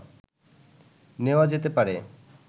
নেওয়া যেতে পারে